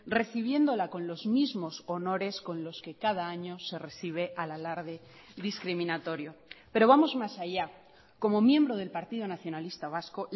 recibiéndola con los mismos honores con los que cada año se recibe al alarde discriminatorio pero vamos más allá como miembro del partido nacionalista vasco